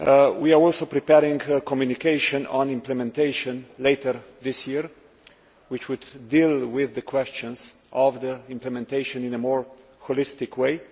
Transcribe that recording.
We are also preparing a communication on implementation later this year, which would deal with the question of implementation in a more holistic way.